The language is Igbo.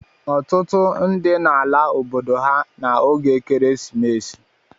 Ọtụtụ ndị na ala obodo ha n'oge Ekeresimesi.